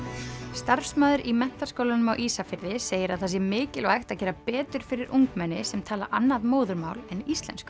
starfsmaður í Menntaskólanum á Ísafirði segir að það sé mikilvægt að gera betur fyrir ungmenni sem tala annað móðurmál en íslensku